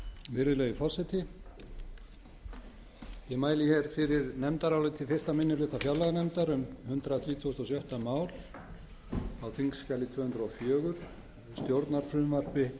virðulegi forseti ég mæli hér fyrir nefndaráliti fyrsti minni hluta fjárlaganefndar um hundrað þrítugasta og sjötta mál á þingskjali tvö hundruð og fjögur stjórnarfrumvarpi